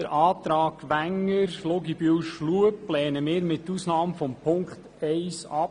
Den Antrag Wenger, Luginbühl und Schlup lehnen wir mit Ausnahme der Auflage 1 ab.